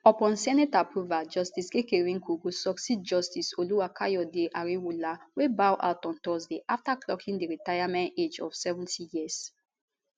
upon senate approval justice kekereekun go succeed justice olukayode ariwoola wey bow out on thursday after clocking di retirement age of 70 years